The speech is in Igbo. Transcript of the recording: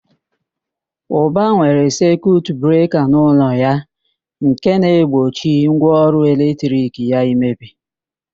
Ụba nwere sekiut breka n'ụlọ ya nke na-egbochi ngwaọrụ eletrik ya imebi.